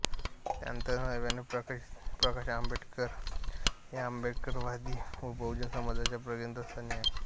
त्यानंतर नव्याने प्रकाश आंबेडकर हे आंबेडकरवादी व बहुजन समाजाच्या केंद्रस्थानी आले